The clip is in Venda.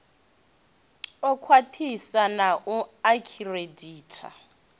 u khwaṱhisa na u akhireditha